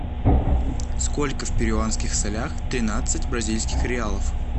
сколько в перуанских солях тринадцать бразильских реалов